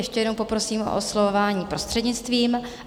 Ještě jednou poprosím o oslovování prostřednictvím.